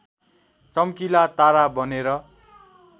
चम्किला तारा बनेर